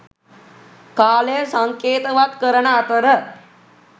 කාලය සංකේතවත් කරන අතර